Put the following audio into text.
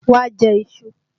Wá jẹ iṣu!